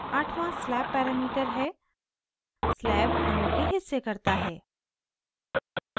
आठवाँ slab parameter है slab अणु के हिस्से करता है